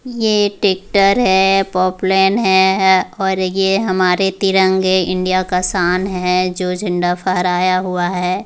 ये ट्रैक्टर है पॉपलेन है और ये हमारे तिरंगे इंडिया का शान है जो झंडा फहराया हुआ है ।